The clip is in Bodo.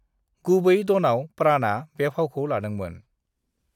गुबै ड'नआव प्राणआ बे फावखौ लादोंमोन।